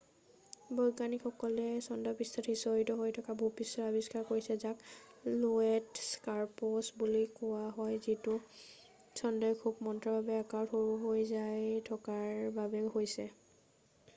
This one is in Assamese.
বৈজ্ঞানিকসকলে চন্দ্ৰপৃষ্ঠত সিঁচৰতি হৈ থকা ভূপৃষ্ঠৰ আবিষ্কাৰ কৰিছে যাক লোৱেট স্কাৰপছ বুলি কোৱা হয় যিতো চন্দ্ৰই খুৱ মন্থৰভাৱে আকাৰত সৰু হৈ যাই থকাৰ বাবে হৈছে